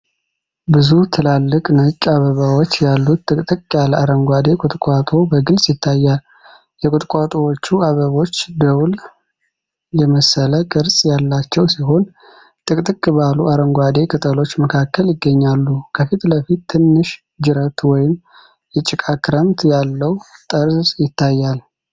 ብዙ ትላልቅ ነጭ አበባዎች ያሉት ጥቅጥቅ ያለ አረንጓዴ ቁጥቋጦ በግልጽ ይታያል። የቁጥቋጦዎቹ አበቦች ደውል የመሰለ ቅርጽ ያላቸው ሲሆን፣ ጥቅጥቅ ባሉ አረንጓዴ ቅጠሎች መካከል ይገኛሉ። ከፊት ለፊት፣ ትንሽ ጅረት ወይም የጭቃ ክምር ያለው ጠርዝ ይታያል።